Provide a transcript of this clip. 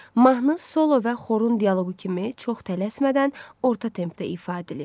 Mahnı solo və xorun dialoqu kimi çox tələsmədən orta tempdə ifa edilir.